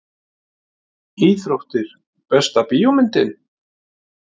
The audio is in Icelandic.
Íþróttir Besta bíómyndin?